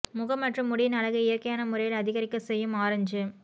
முகம் மற்றும் முடியின் அழகை இயற்கையான முறையில் அதிகரிக்க செய்யும் ஆரஞ்சு